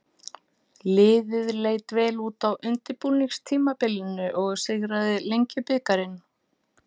Liðið leit vel út á undirbúningstímabilinu og sigraði Lengjubikarinn.